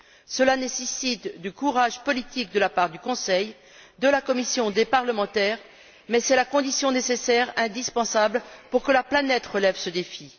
Cela nécessite du courage politique de la part du Conseil, de la Commission et des parlementaires, mais c'est la condition nécessaire, indispensable, pour que la planète relève ce défi.